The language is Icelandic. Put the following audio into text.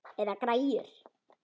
Eða græjur.